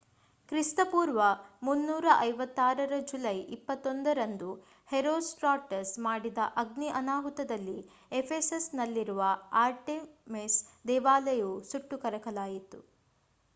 ಕ್ರಿ.ಪೂ. 356 ರ ಜುಲೈ 21 ರಂದು ಹೆರೋಸ್ಟ್ರಾಟಸ್ ಮಾಡಿದ ಅಗ್ನಿ ಅನಾಹುತದಲ್ಲಿ ಎಫೆಸಸ್‌ನಲ್ಲಿರುವ ಆರ್ಟೆಮಿಸ್ ದೇವಾಲಯವು ಸುಟ್ಟು ಕರಕಲಾಯಿತು